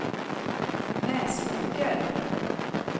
Näsåker